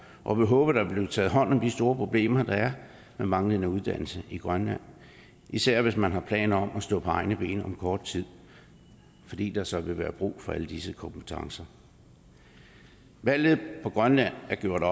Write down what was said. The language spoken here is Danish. og vi håber der vil blive taget hånd om de store problemer der er med manglende uddannelse i grønland især hvis man har planer om at stå på egne ben om kort tid fordi der så vil være brug for alle disse kompetencer valget på grønland er gjort